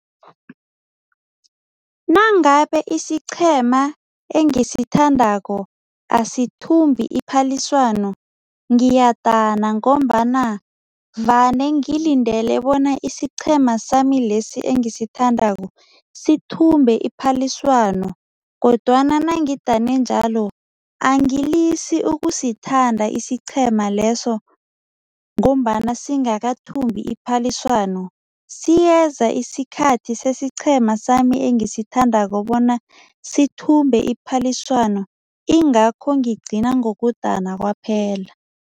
Nangabe isiqhema engisithandako asithimbi iphaliswano ngiyadana ngombana vane ngilindele bona isiqhema sami lesi engisithandako sithumbe iphaliswano kodwana nangidane njalo, angilisi ukusithanda isiqhema leso ngombana singakathumbi iphaliswano. Siyeza isikhathi sesiqhema sami engisithandako bona sithumbe iphaliswano, ingakho ngigcina ngokudana kwaphela.